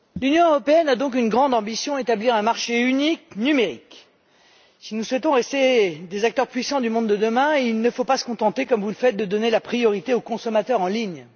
Monsieur le Président, l'Union européenne a donc une grande ambition établir un marché unique numérique. Si nous souhaitons rester des acteurs puissants du monde de demain, il ne faut pas se contenter, comme vous le faites, de donner la priorité aux consommateurs en ligne.